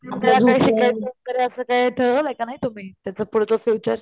त्यातही शिकायचं का नाही असं काय ठरवलं आहे का नाही तुम्ही त्याच पुढचं फ्युचर?